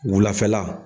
Wulafɛla